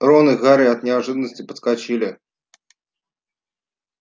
рон и гарри от неожиданности подскочили